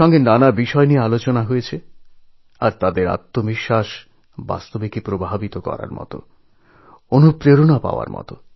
তাঁদের নানান ভাবনাচিন্তা নিয়ে আলোচনা হল আর সেগুলো আমাদের অত্যন্ত আত্মবিশ্বাসী করে তোলেঅনুপ্রাণিত করে